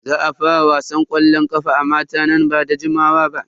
Za a fara wasan ƙwallon ƙafa a mata nan ba da jimawa ba.